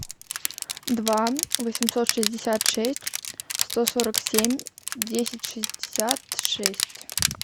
два восемьсот шестьдесят шесть сто сорок семь десять шестьдесят шесть